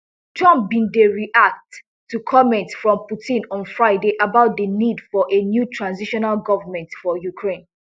trump bin dey react to comments from putin on friday about di need for a new transitional government for ukraine